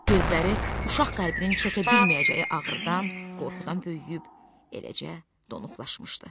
Gözləri uşaq qəlbinin çəkə bilməyəcəyi ağrıdan, qorxudan böyüyüb eləcə donuqlaşmışdı.